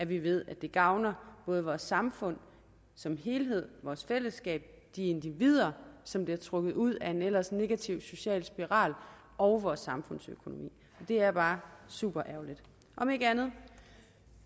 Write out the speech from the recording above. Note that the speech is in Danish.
vi ved at det gavner både vores samfund som helhed vores fællesskab de individer som bliver trukket ud af en ellers negativ social spiral og vores samfundsøkonomi det er bare super ærgerligt om ikke andet